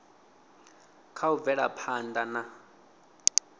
kha u bvela phanḓa na